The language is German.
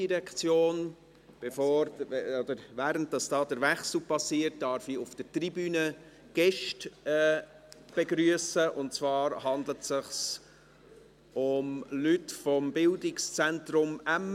Bevor oder während der Wechsel passiert, darf ich auf der Tribüne Gäste begrüssen, und zwar handelt es sich um Leute des Bildungszentrums Emme.